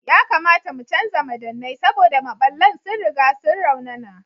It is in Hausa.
Yakamata mu canza madannai saboda maɓallan sun riga sun raunana.